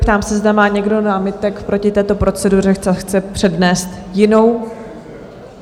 Ptám se, zda má někdo námitek proti této proceduře a chce přednést jinou?